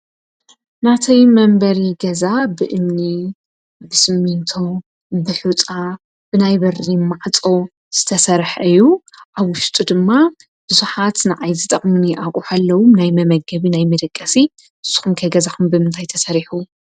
ነቲ መንበሪ ገዛ ብእምኒ፣ ብስሚንቶ፣ ብሑፃ ናይ በሪ ማዕፆ ዝተሰርሐ እዩ፡፡ ኣብ ውሽጡ ድማ ብዙሓት ንዓይ ዝጠቅሙኒ ኣቅሑ ኣለው ናይ መመገቢ፣ ናይ መደገሲ፡፡ ንስኩም ከ ገዛኩም ብምንታይ ተሰሪሑ?